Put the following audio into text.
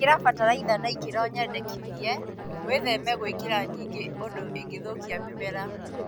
Ĩkĩra bataraitha na ikĩro nyendekithie, wĩtheme gwĩkĩra nyingĩ ũndũ ĩngĩthũkia mĩmera